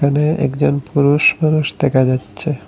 এখানে একজন পুরুষ মানুষ দেখা যাচ্ছে।